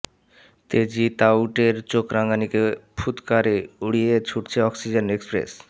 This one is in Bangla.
তেজি তাউটের চোখ রাঙানিকে ফুৎকারে উড়িয়ে ছুটছে অক্সিজেন এক্সপ্রেস